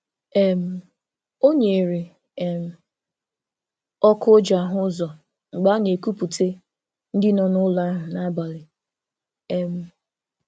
um O nyere um ọkụ o ji ahụ ụzọ mgbe a na-ekupute ndị nọ n'ụlọ ahụ n'abalị. um